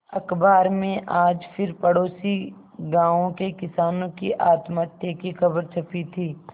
अखबार में आज फिर पड़ोसी गांवों के किसानों की आत्महत्या की खबर छपी थी